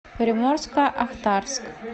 приморско ахтарск